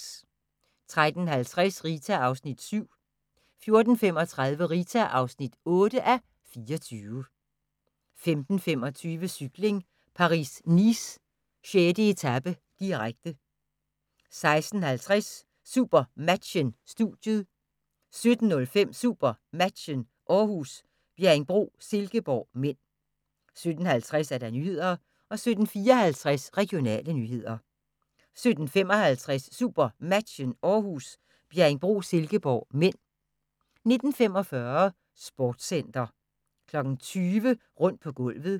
13:50: Rita (7:24) 14:35: Rita (8:24) 15:25: Cykling: Paris-Nice - 6. etape, direkte 16:50: SuperMatchen: Studiet 17:05: SuperMatchen: Århus - Bjerringbro-Silkeborg (m) 17:50: Nyhederne 17:54: Regionale nyheder 17:55: SuperMatchen: Århus - Bjerringbro-Silkeborg (m) 19:45: Sportscenter 20:00: Rundt på gulvet